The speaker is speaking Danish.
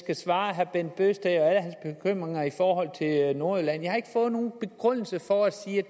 at svare herre bent bøgsted i forhold til alle nordjylland jeg har ikke fået nogen begrundelse for at sige